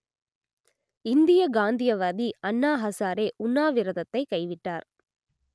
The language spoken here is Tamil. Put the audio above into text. இந்தியக் காந்தியவாதி அண்ணா ஹசாரே உண்ணாவிரதத்தைக் கைவிட்டார்